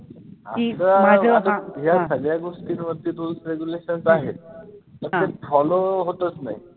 या सगळ्या गोष्टींवरती rules regulations आहेत पण ते follow होतचं नाही.